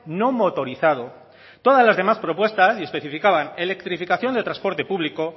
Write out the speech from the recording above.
no motorizado todas las demás propuestas y especificaban electrificación de transporte público